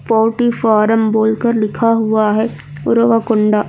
poultry farm बोलकर लिखा हुआ है पूरा हुआ कुंडा--